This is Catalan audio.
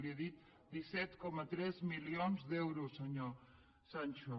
li he dit disset coma tres milions d’euros senyor sancho